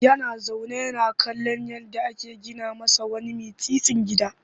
Yana zaune yana kallon yadda ake gina masa wani mitstsin gida